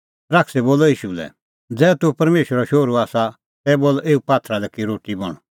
शैतानै बोलअ ईशू लै ज़ै तूह परमेशरो शोहरू आसा तै बोल एऊ पात्थरा लै कि रोटी बण